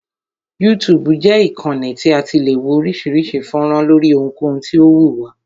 YouTube jẹ́ ìkànnì tí a ti le wo oríṣiríṣi fọ́nrán lóri ohunkohun tí o wù wá.